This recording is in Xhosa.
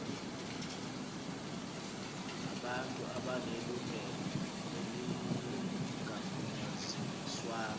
nabantu abanelungelo elingagunyaziswanga